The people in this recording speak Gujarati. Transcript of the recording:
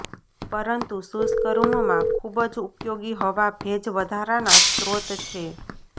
પરંતુ શુષ્ક રૂમ માં ખૂબ જ ઉપયોગી હવા ભેજ વધારાના સ્રોત છે